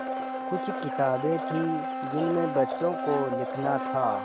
कुछ किताबें थीं जिनमें बच्चों को लिखना था